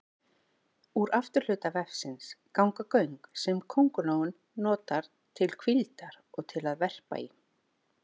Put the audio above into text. Úr afturhluta vefsins ganga göng sem köngulóin notar til hvíldar og til að verpa í.